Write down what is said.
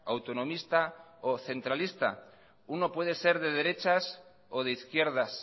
autonomista o centralista uno puede ser de derechas o de izquierdas